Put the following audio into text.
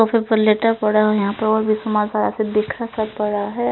और फिर पल्लेटे पड़े हुए हैं यहाँ पे और भी सामान पड़ा है बिखरा सा पड़ा है।